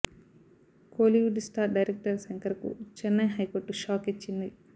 Kollywood star director Shankar కు Chennai high court shock ఇచ్చింది